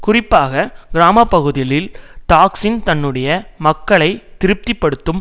குறிப்பாக கிராம பகுதிகளில் தாக்சின் தன்னுடைய மக்களை திருப்தி படுத்தும்